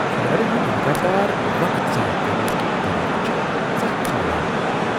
کھلاڑین ہنٛد لگاتار وقت ضایع کرنٕکۍ طریقہٕ چھ ژکھ کھالان۔